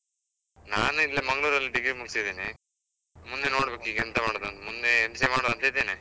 ನಾನ್ ಇಲ್ಲೇ ಮಂಗ್ಳುರ್ ಅಲ್ಲಿ degree ಮುಗ್ಸಿದ್ದಿನಿ, ಮುಂದೆ ನೋಡ್ಬೇಕು ಈಗ ಎಂತ ಮಾಡುದ್ ಅಂತ, ಮುಂದೆ MCA ಮಾಡುವಂತ ಇದ್ದೇನೆ.